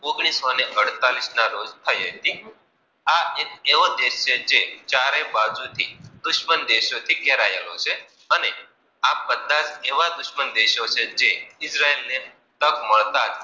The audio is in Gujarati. ઓગણીસો ને અડતાલીસ ના રોજ થઈ હતી. આ એક એવો દેશ છે. જે ચારેય બાજુ થી દુશ્મન થી ઘરયેલો છે અને આ બધા એવા દુશ્મન દેશો છે જે ઈજરાયલ ને મળતા.